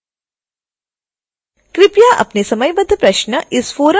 कृपया अपने समयबद्ध प्रश्न इस फ़ोरम में भेजें